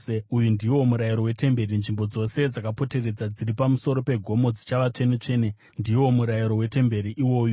“Uyu ndiwo murayiro wetemberi: Nzvimbo dzose dzakapoteredza dziri pamusoro pegomo dzichava tsvene-tsvene. Ndiwo murayiro wetemberi iwoyu.